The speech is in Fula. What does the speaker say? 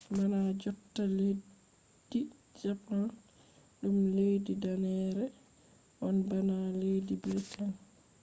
bana jotta leddi japan ɗum leddi danneere on bana leddi briten